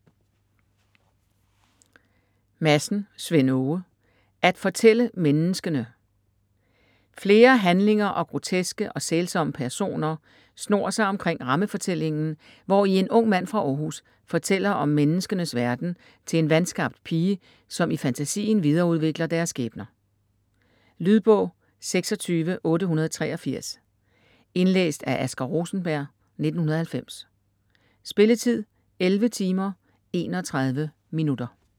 Madsen, Svend Åge: At fortælle menneskene Flere handlinger og groteske og sælsomme personer snor sig omkring rammefortællingen, hvori en ung mand fra Århus fortæller om menneskenes verden til en vanskabt pige, som i fantasien videreudvikler deres skæbner. Lydbog 26883 Indlæst af Asger Rosenberg, 1990. Spilletid: 11 timer, 31 minutter.